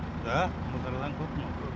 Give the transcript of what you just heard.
да былтырдан көп мынау